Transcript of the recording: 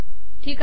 ठीक आहे